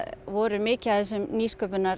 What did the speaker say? voru mikið af þessum